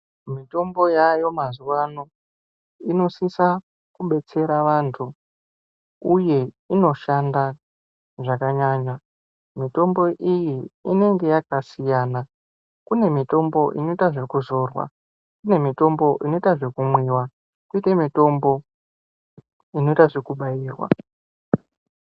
Mitombo yaayo mazuwa ano inosisa kubetsera vantu, uye inoshanda zvakanyanya. Mitombo iyi inenge yakasiyana. Kune mitombo inoita zvekuzorwa, kune mitombo inoita zvekumwiwa koita mitombo inoita zvekubairwa.